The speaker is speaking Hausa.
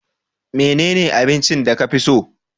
menene abincin da ka fi so?